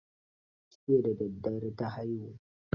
Jiya da daddare ta haihu.